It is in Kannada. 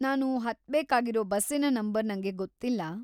ನಾನು ಹತ್ಬೇಕಾಗಿರೋ ಬಸ್ಸಿನ ನಂಬರ್‌ ನಂಗೆ ಗೊತ್ತಿಲ್ಲ.